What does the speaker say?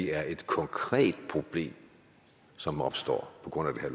er et konkret problem som opstår på grund af